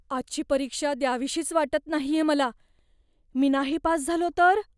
आजची परीक्षा द्यावीशीच वाटत नाहीये मला. मी नाही पास झालो तर?